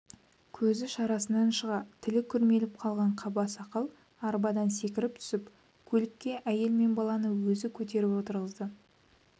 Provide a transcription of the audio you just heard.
көзі шарасынан шыға тілі күрмеліп қалған қаба сақал арбадан секіріп түсіп көлікке әйел мен баланы өзі көтеріп отырғызды